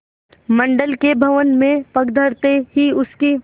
मंडल के भवन में पग धरते ही उसकी